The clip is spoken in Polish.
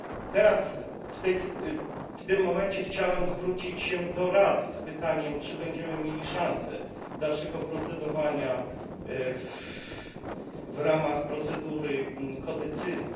Teraz, w tym momencie, chciałem zwrócić się do Rady z pytaniem, czy będziemy mieli szansę dalszego procedowania w ramach procedury współdecyzji.